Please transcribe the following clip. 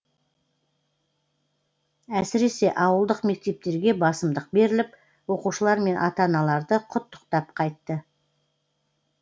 әсіресе ауылдық мектептерге басымдық беріліп оқушылар мен ата аналарды құттықтап қайтты